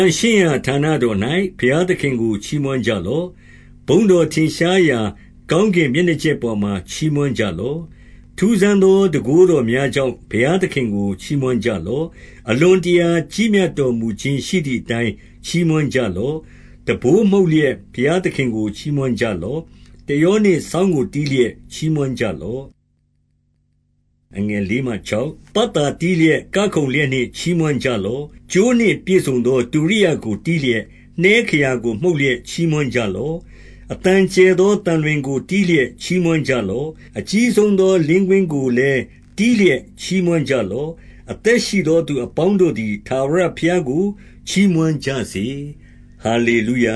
န့်ရှင်းရာ ဌာနတော်၌ ဘုရားသခင်ကို ချီးမွမ်းကြလော့။ ဘုန်းတော်ထင်ရှားရာ ကောင်းကင် မျက်နှာကြက်ပေါ်မှာ ချီးမွမ်းကြလော့။ 2 ထူးဆန်းသော တန်ခိုးတော်များကြောင့်၊ ဘုရား သခင်ကို ချီးမွမ်းကြလော့။ အလွန်တရာကြီးမြတ်တော်မူ ခြင်းရှိသည်အတိုင်း ချီးမွမ်းကြလော့။ 3 တံပိုးမှုတ်လျက်ဘုရားသခင်ကို ချီးမွမ်းကြလော့။ တယောနှင့် စောင့်ကိုတီးလျက် ချီးမွမ်းကြလော့။ 4 ပတ်သာတီးလျက်၊ ကခုန်လျက်နှင့်ချီးမွမ်းကြ လော့။ ကြိုးနှင့်ပြည့်စုံသော တုရိယာကိုတီးလျက်၊ နှဲခရာ ကို မှုတ်လျက်ချီးမွမ်းကြလော့။ 5 အသံကျယ်သောသံလွင်ကို တီးလျက်ချီးမွမ်းကြ လော့။ အကြီးဆုံးသော လင်းကွင်းကိုလည်း တီးလျက် ချီးမွမ်းကြလော့။ 6 အသက်ရှိသော သူအပေါင်းတို့သည် ထာဝရ ဘုရားကို ချီးမွမ်းကြစေ။ ဟာလေလုယ